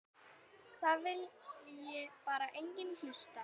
Það vilji bara enginn hlusta.